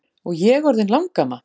Og ég orðin langamma!